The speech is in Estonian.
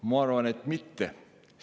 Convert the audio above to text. Ma arvan, et mitte.